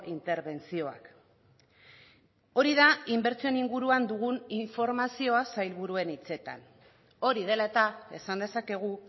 interbentzioak hori da inbertsioen inguruan dugun informazioa sailburuen hitzetan hori dela eta esan dezakegu